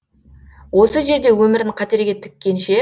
осы жерде өмірін қатерге тіккенше